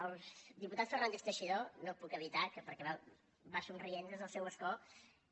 al diputat fernández teixidó no ho puc evitar perquè va somrient des del seu escó